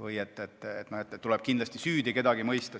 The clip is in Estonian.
või et tuleb kindlasti keegi süüdi mõista.